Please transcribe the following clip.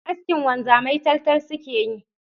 Askin wanzamai taltal suke yi